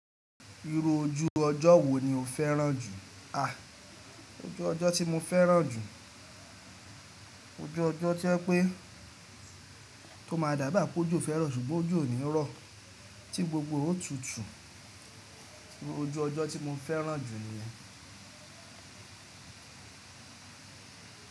Irú ojú ọjọ́ wo ni o fẹ́ràn jù? Ojú ọjọ́ tí mo fẹ́ràn jù, ojú ọjọ́ to jẹ́ pé o máa dà bi pé ojo fẹ́ ro ṣùgbọ́n ojọ ònírọ́ tí gbogbo e òótú tú, ojú ọjọ́ tí mo fẹ́ràn jù ni yen.